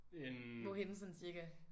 Hvorhenne sådan cirka?